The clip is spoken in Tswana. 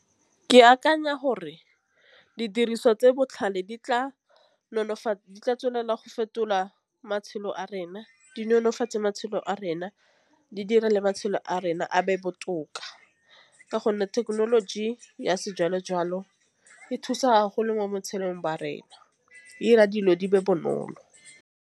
Ke akanya gore didiriswa tse di botlhale di tla nonofatsa di tla tswelela go fetola matshelo a rena di nonofatsa matšhelo a rena. Di dire le matšhelo a rona a be botoka. Ka gonne thekenoloji ya sejalo-jalo e thusa mo botshelong ba rena e dira dilo di be bonolo.